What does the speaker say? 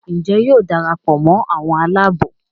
Njé yóò darapọ̀ mọ àwọn Àlàabò?